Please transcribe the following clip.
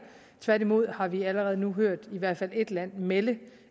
tværtimod har vi allerede nu hørt i hvert fald ét land melde